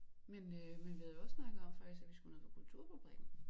Men øh men vi havde jo også snakket om faktisk at vi skulle ned på kulturfabrikken